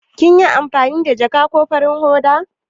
Kina amfani da ja ko farin hoda?